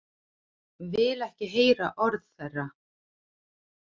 Vil ekki heyra orð þeirra.